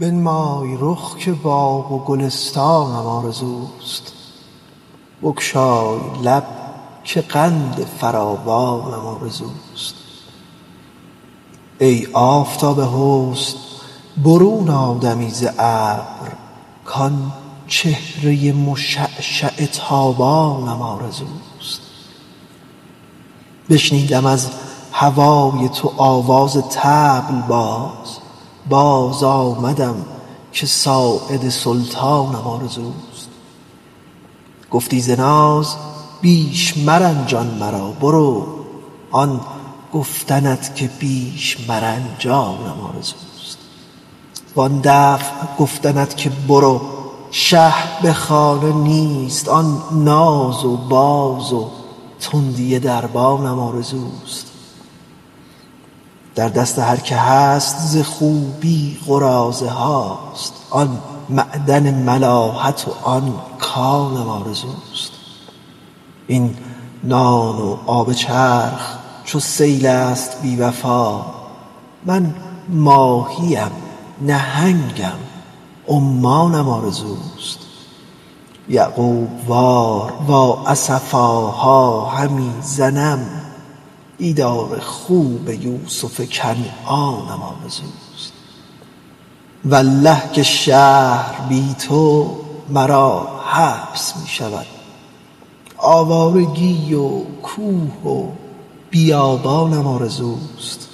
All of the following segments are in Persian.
بنمای رخ که باغ و گلستانم آرزوست بگشای لب که قند فراوانم آرزوست ای آفتاب حسن برون آ دمی ز ابر کآن چهره مشعشع تابانم آرزوست بشنودم از هوای تو آواز طبل باز باز آمدم که ساعد سلطانم آرزوست گفتی ز ناز بیش مرنجان مرا برو آن گفتنت که بیش مرنجانم آرزوست وآن دفع گفتنت که برو شه به خانه نیست وآن ناز و باز و تندی دربانم آرزوست در دست هر که هست ز خوبی قراضه هاست آن معدن ملاحت و آن کانم آرزوست این نان و آب چرخ چو سیل است بی وفا من ماهی ام نهنگم و عمانم آرزوست یعقوب وار وا اسفاها همی زنم دیدار خوب یوسف کنعانم آرزوست والله که شهر بی تو مرا حبس می شود آوارگی و کوه و بیابانم آرزوست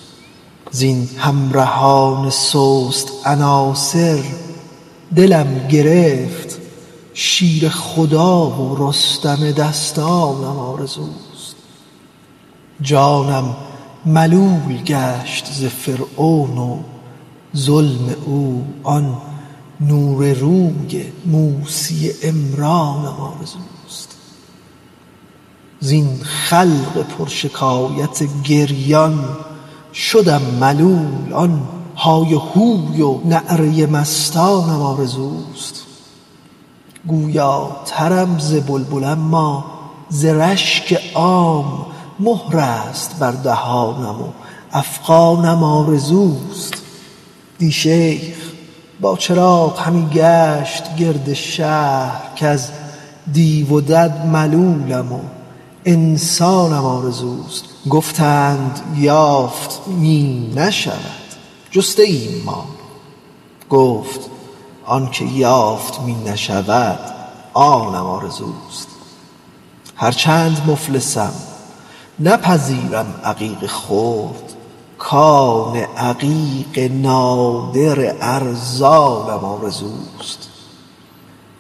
زین همرهان سست عناصر دلم گرفت شیر خدا و رستم دستانم آرزوست جانم ملول گشت ز فرعون و ظلم او آن نور روی موسی عمرانم آرزوست زین خلق پرشکایت گریان شدم ملول آن های هوی و نعره مستانم آرزوست گویاترم ز بلبل اما ز رشک عام مهر است بر دهانم و افغانم آرزوست دی شیخ با چراغ همی گشت گرد شهر کز دیو و دد ملولم و انسانم آرزوست گفتند یافت می نشود جسته ایم ما گفت آن چه یافت می نشود آنم آرزوست هرچند مفلسم نپذیرم عقیق خرد کان عقیق نادر ارزانم آرزوست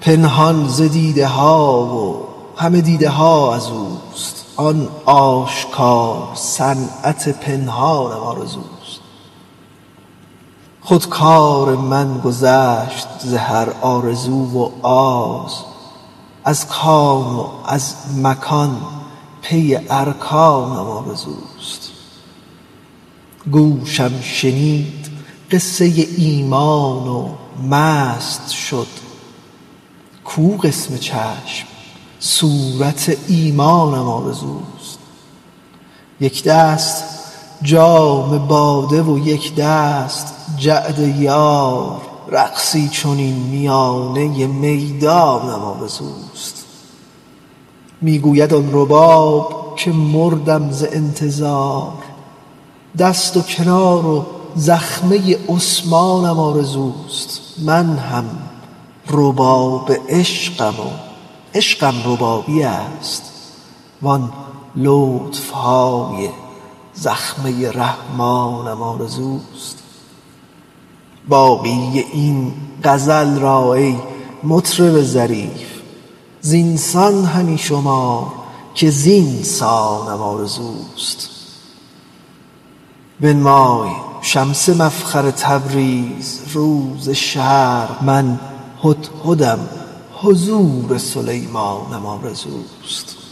پنهان ز دیده ها و همه دیده ها از اوست آن آشکار صنعت پنهانم آرزوست خود کار من گذشت ز هر آرزو و آز از کان و از مکان پی ارکانم آرزوست گوشم شنید قصه ایمان و مست شد کو قسم چشم صورت ایمانم آرزوست یک دست جام باده و یک دست جعد یار رقصی چنین میانه میدانم آرزوست می گوید آن رباب که مردم ز انتظار دست و کنار و زخمه عثمانم آرزوست من هم رباب عشقم و عشقم ربابی است وآن لطف های زخمه رحمانم آرزوست باقی این غزل را ای مطرب ظریف زین سان همی شمار که زین سانم آرزوست بنمای شمس مفخر تبریز رو ز شرق من هدهدم حضور سلیمانم آرزوست